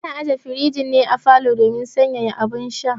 Ana aje firijin ne a falo domin sanyaya abun sha